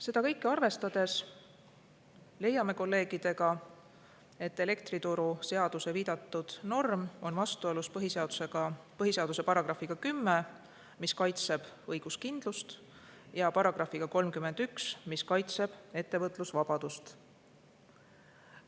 Seda kõike arvestades leiame kolleegidega, et elektrituruseaduse viidatud norm on vastuolus põhiseaduse §‑ga 10, mis kaitseb õiguskindlust, ja §‑ga 31, mis kaitseb ettevõtlusvabadust.